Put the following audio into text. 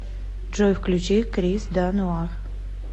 джой включи крис да нуар